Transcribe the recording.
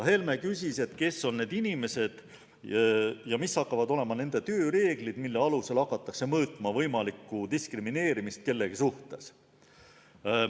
Helme küsis, kes on need inimesed ja mis hakkavad olema nende tööreeglid, mille alusel hakatakse mõõtma võimalikku diskrimineerimist kellegi suhtes.